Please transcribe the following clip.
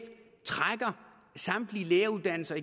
trækker samtlige læreruddannelser